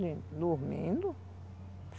Dormindo?